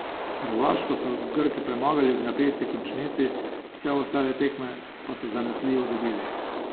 Hrvaško so Grki premagali v napeti končnici, vse ostale tekme pa so zanesljivo dobili.